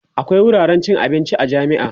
akwia wuraren cin abinci a jami'a